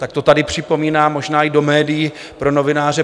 Tak to tady připomínám, možná i do médií pro novináře.